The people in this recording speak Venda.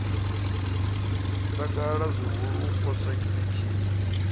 takala zwihulu u poswa tshiṱitshini